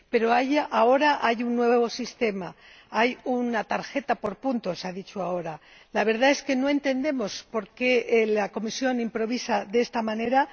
Pero ahora hay un nuevo sistema, hay una tarjeta por puntos —ha dicho ahora la Comisión. La verdad es que no entendemos por qué la Comisión improvisa de esta manera.